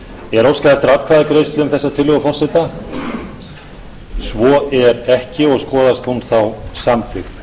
er óskað eftir atkvæðagreiðslu um þessa tillögu forseta svo er ekki og skoðast hún þá samþykkt